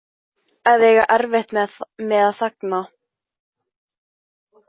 Að eiga erfitt með að þagna